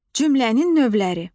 Cümlənin növləri.